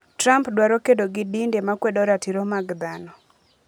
Trump dwaro kedo gi dinde makwedo ratiro mag dhano